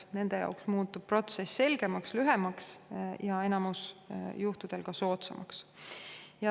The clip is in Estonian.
Nende jaoks muutub protsess selgemaks, lühemaks ja enamikul juhtudel ka soodsamaks.